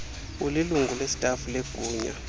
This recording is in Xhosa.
ulilungu lestafu legunya